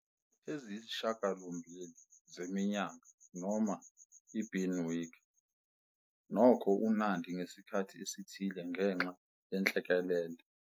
eziyisishiyagalombili zeminyaka noma i-ibinwek, nokho uNandi ngesikhathi esithile ngenxa yenhlekelele.